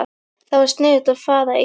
Það var sniðugt að fara í